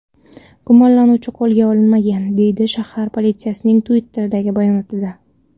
Gumonlanuvchi qo‘lga olinmagan”, deyiladi shahar politsiyasining Twitter’dagi bayonotida.